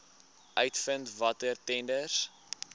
uitvind watter tenders